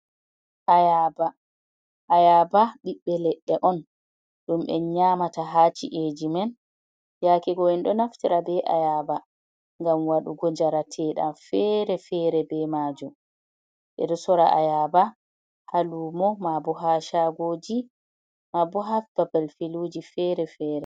Ayaba ɓiɓɓe leɗɗe on ɗum en nyamata haci’eji men, yake go’en ɗo naftira be ayaba ngam waɗugo jaratedlɗan fere-fere be majum, ɓe ɗo sora ayaba ha lumo mabo ha shagoji ma bo ha babal filuji fere fere.